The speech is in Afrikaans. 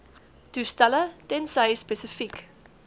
toestelle tensy spesifiek